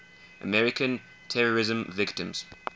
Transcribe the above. american terrorism victims